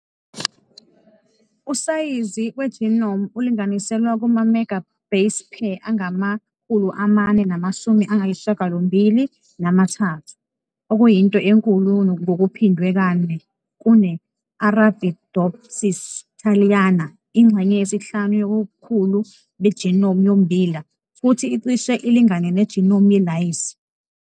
Usayizi we-genome ulinganiselwa kuma-mega base pair angama- 473, okuyinto enkulu ngokuphindwe kane kune- "Arabidopsis thaliana", ingxenye yesihlanu yobukhulu be-genome yommbila, futhi icishe ilingane ne-genome yelayisi.